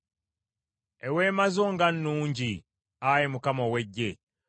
Eweema zo nga nnungi, Ayi Mukama ow’Eggye!